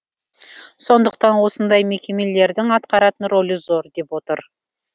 сондықтан осындай мекемелердің атқаратын рөлі зор деп отыр